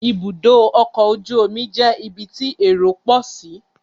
Ibùdó ọkọ̀ ojú omi jẹ́ ibi tí èrò pọ̀ sí